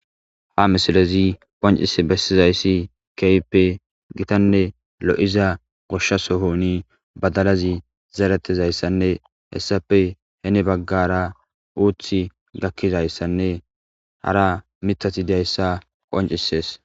Ha misilezi qoncis bessizayssi keyppe gitanne lo7iza goshshasohoni badalazi zaretezayssanne hessape hene baggara uuthi gakkizayssanne hara mitati dayssa qoncisees.